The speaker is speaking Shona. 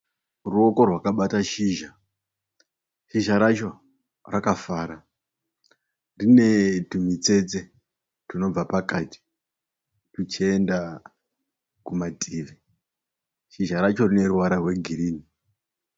Ruoko reakabata shizha, shizha racho rakafara rinetwumutsetse twunobva pakati twuchienda kumativi, shizha racho rineruvara rwegirini.